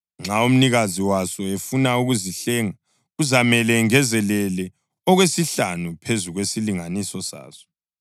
Nxa umnikazi waso efuna ukuzihlenga, kuzamele engezelele okwesihlanu phezu kwesilinganiso saso.